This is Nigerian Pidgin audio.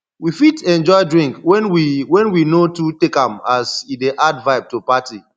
we fit enjoy drink when we when we no too take am as e dey add vibe to party